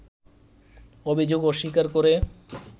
অভিযোগ অস্বীকার করে